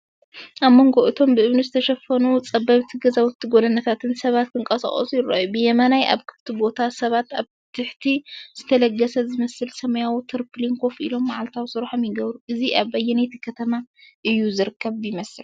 ኣብ መንጎ እቶም ብእምኒ ዝተሸፈኑ ጸበብቲ ገዛውትን ጎደናታትን ሰባት ክንቀሳቐሱ ይረኣዩ። ብየማን ኣብ ክፉት ቦታ ሰባት ኣብ ትሕቲ ዝተለገሰ ዝመስል ሰማያዊ ተርፖሊን ኮፍ ኢሎም መዓልታዊ ስራሖም ይገብሩ። እዚ ኣብ ኣየነይቲ ከተማ እዩ ዚርከብ ይመስል?